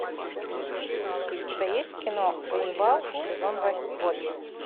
у тебя есть кино ганнибал сезон восемь